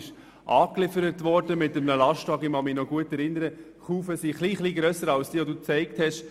Die Kufen waren wenig grösser als diejenige, die Grossrat Schwarz gezeigt hat.